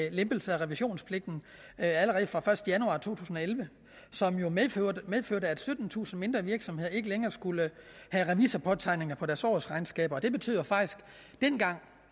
en lempelse af revisionspligten allerede fra den første januar to tusind og elleve som jo medførte medførte at syttentusind mindre virksomheder ikke længere skulle have revisorpåtegning på deres årsregnskaber det betød faktisk